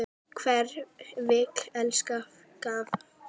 Hver vill elska fagott?